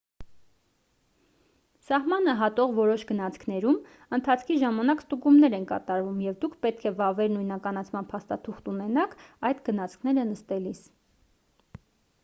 սահմանը հատող որոշ գնացքներում ընթացքի ժամանակ ստուգումներ են կատարվում և դուք պետք է վավեր նույնականացման փաստաթուղթ ունենաք այդ գնացքները նստելիս